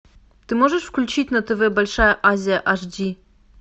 ты можешь включить на тв большая азия аш ди